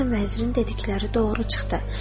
sən vəzirin dedikləri doğru çıxdı.